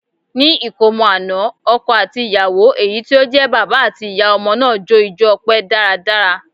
Ní ìsọmọlórúkọ àná, ọkọ àti ìyàwó èyí tí ó jẹ́ bàbá àti ìyá ọmọ náà jó ijo ọpẹ dáradára.